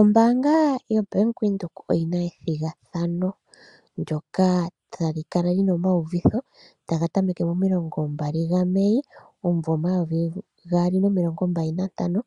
Ombaanga yoBank Windhoek oyina ethigathano ndyoka tali kala lina omayuliko taga tameke mo26 Mei 2025